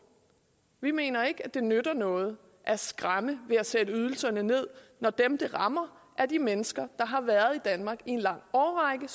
vi mener ikke at det nytter noget at skræmme ved at sætte ydelserne ned når dem det rammer er de mennesker der har været i danmark i en lang årrække